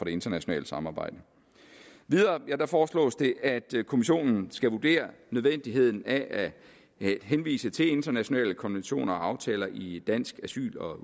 internationale samarbejde videre foreslås det at kommissionen skal vurdere nødvendigheden af at henvise til internationale konventioner og aftaler i dansk asyl og